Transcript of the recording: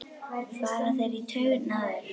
fara þeir í taugarnar á þér?